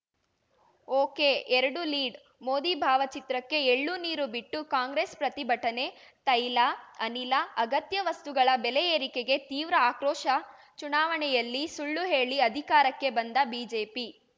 ಒಕೆಎರಡುಲೀಡ್‌ ಮೋದಿ ಭಾವಚಿತ್ರಕ್ಕೆ ಎಳ್ಳುನೀರು ಬಿಟ್ಟು ಕಾಂಗ್ರೆಸ್‌ ಪ್ರತಿಭಟನೆ ತೈಲ ಅನಿಲ ಅಗತ್ಯ ವಸ್ತುಗಳ ಬೆಲೆ ಏರಿಕೆಗೆ ತೀವ್ರ ಆಕ್ರೋಶ ಚುನಾವಣೆಯಲ್ಲಿ ಸುಳ್ಳು ಹೇಳಿ ಅಧಿಕಾರಕ್ಕೆ ಬಂದ ಬಿಜೆಪಿ